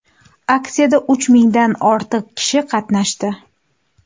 Aksiyada uch mingdan ortiq kishi qatnashdi.